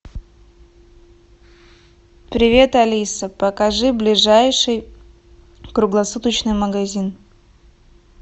привет алиса покажи ближайший круглосуточный магазин